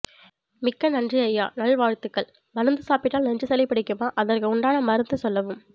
மிக்க நன்றி அய்யா நல் வாழ்த்துக்கள் மருந்து சாப்பிட்டால் நெஞ்சு சளி பிடிக்குமா அதற்க்கு உண்டான மருந்து சொல்லவும்